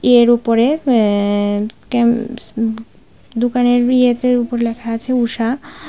এর উপরে অ্যা-কাম-দোকানের উপরে লেখা আছে ঊষা।